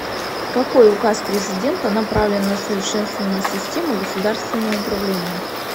какой указ президента направлен на совершенствование системы государственного управления